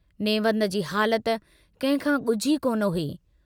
नेवंद जी हालत कहिंखां गुझी कोन हुई।